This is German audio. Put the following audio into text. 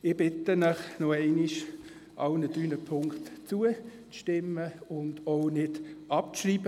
Ich bitte Sie nochmals, allen drei Punkten zuzustimmen und diese nicht abzuschreiben.